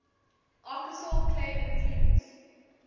archosaur clade includes